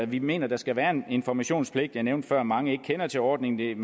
vi mener der skal være en informationspligt jeg nævnte før at mange ikke kender til ordningen